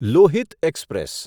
Lohit express